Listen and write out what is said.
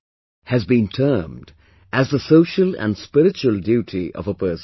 , has been termed as the social and spiritual duty of a person